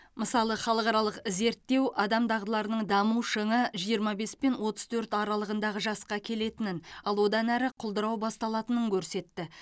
мысалы халықаралық зерттеу адам дағдыларының даму шыңы жиырма бес пен отыз төрт аралығындағы жасқа келетінін ал одан әрі құлдырау басталатынын көрсетті